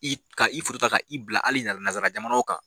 I ka i ka i bila hali nansara jamanaw kan.